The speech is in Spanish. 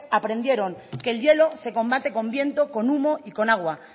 aprendieron que el hielo se combate con viento con humo y con agua